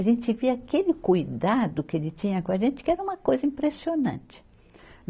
A gente via aquele cuidado que ele tinha com a gente, que era uma coisa impressionante.